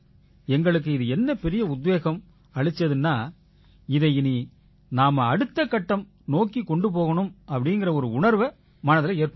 எங்களுக்கு இது என்ன பெரிய உத்வேகம் அளிச்சுதுன்னா இதை இனி நாம அடுத்த கட்டம் நோக்கிக் கொண்டு போகணும்ங்கற உணர்வை மனதில ஏற்படுத்திச்சு